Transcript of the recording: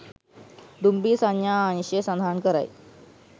දුම්රිය සංඥා අංශය සඳහන් කරයි